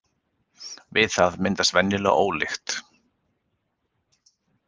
Við það myndast venjulega ólykt.